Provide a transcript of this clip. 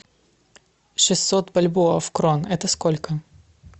шестьсот бальбоа в крон это сколько